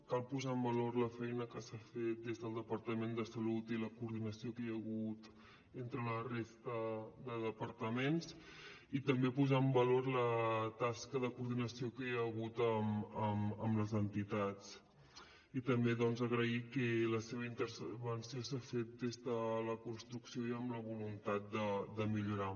cal posar en valor la feina que s’ha fet des del departament de salut i la coordinació que hi ha hagut entre la resta de departaments i també posar en valor la tasca de coordinació que hi ha hagut amb les entitats i també doncs agrair que la seva intervenció s’ha fet des de la construcció i amb la voluntat de millorar